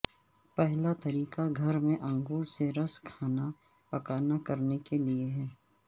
پہلا طریقہ گھر میں انگور سے رس کھانا پکانا کرنے کے لئے ہے